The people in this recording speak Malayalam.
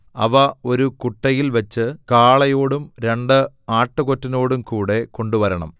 അവ ഒരു കുട്ടയിൽ വച്ച് കാളയോടും രണ്ട് ആട്ടുകൊറ്റനോടുംകൂടെ കൊണ്ടുവരണം